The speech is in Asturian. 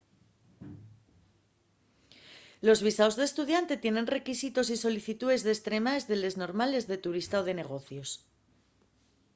los visaos d'estudiante tienen requisitos y solicitúes destremaes de les normales de turista o de negocios